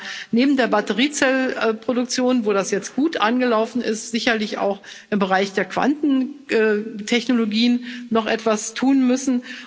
Da werden wir neben der Batteriezellenproduktion, die jetzt gut angelaufen ist, sicherlich auch im Bereich der Quantentechnologien noch etwas tun müssen.